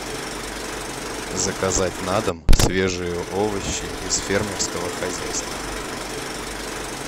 заказать на дом свежие овощи из фермерского хозяйства